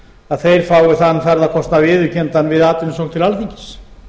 að þeir fái þann ferðakostnað viðurkenndan við atvinnusókn til alþingis